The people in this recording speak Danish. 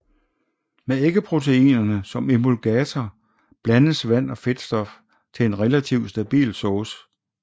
Med æggeproteinerne som emulgator blandes vand og fedtstof til en relativ stabil sauce